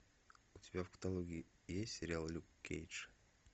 у тебя в каталоге есть сериал люк кейдж